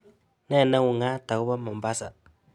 Ne neung'aat agoboo mombasa